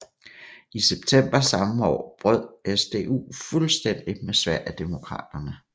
I september samme år brød SDU fuldstændig med Sverigedemokraterne